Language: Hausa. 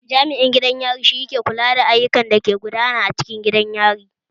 Jami'in gidan yari ke kula da dukkanin ayukan da ke gudana a cikin gidan yari